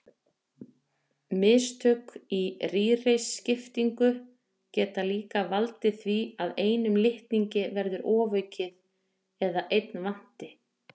Mistök í rýriskiptingu geta líka valdið því að einum litningi verði ofaukið eða einn vanti.